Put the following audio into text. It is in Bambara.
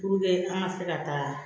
an ka se ka taa